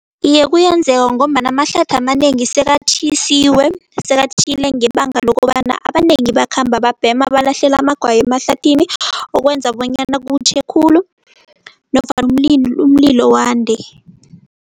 Iye, kuyenzeka ngombana amahlathi amanengi sekatjhisiwe. Sekatjhile ngebanga lokobana abanengi bakhamba babhema balahlela amagwayi emahlathini, okwenza bonyana kutjhe khulu nofana umlilo wande.